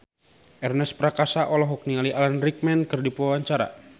Ernest Prakasa olohok ningali Alan Rickman keur diwawancara